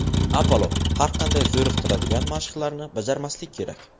Avvalo, har qanday zo‘riqtiradigan mashqlarni bajarmaslik kerak.